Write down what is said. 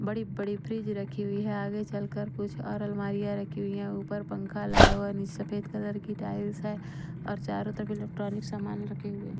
बड़ी-बड़ी फ्रिज रखी हुई है आगे चलकर कुछ और अलमारियां रखी हुई हैं ऊपर पंखा लगा हुआ नीचे सफेद कलर की टाइल्स है और चारों तरफ इलेक्ट्रॉनिक सामान रखे हुए हैं।